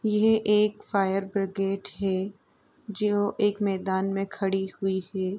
यह एक fire brigade है जो एक मैदान में खड़ी हुई है।